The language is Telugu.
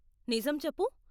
నిజం చెప్పు.